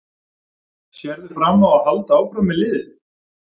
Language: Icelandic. Sérðu fram á að halda áfram með liðið?